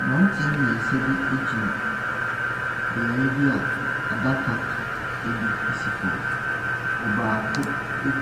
Mmeranteɛ mmiɛnsa bi gyina beaeɛ bi a adaka bi si fam. Ɔbaako